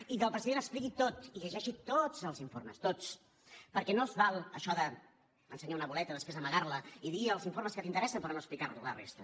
i que el president ho expliqui tot i llegeixi tots els informes tots perquè no s’hi val això d’ensenyar una boleta després amagar la i dir els informes que t’interessen però no explicar la resta